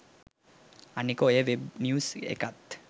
අනික ඔය web news එකත්